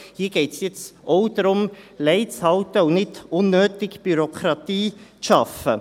Hier geht es nun auch darum, Lei zu halten und nicht unnötige Bürokratie zu schaffen.